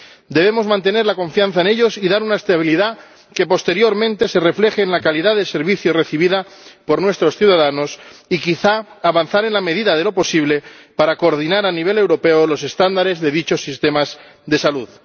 Debemos mantener la confianza en ellos y dar una estabilidad que posteriormente se refleje en la calidad del servicio recibido por nuestros ciudadanos y quizás avanzar en la medida de lo posible para coordinar a nivel europeo los estándares de dichos sistemas de salud.